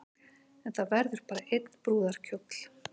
En það verður bara einn brúðarkjóll